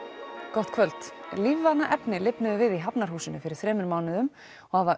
gott kvöld lífvana efni lifnuðu við í Hafnarhúsinu fyrir þremur mánuðum og hafa